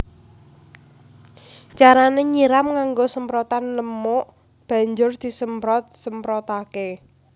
Carané nyiram nganggo semprotan lemuk banjur disemprot semprotaké